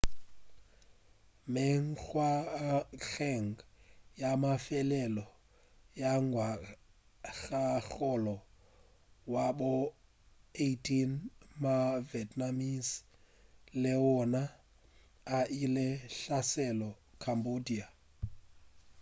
mengwageng ya mafelelo ya ngwagakgolo wa bo 18 ma-vietnamese le wona a ile a hlasela cambodia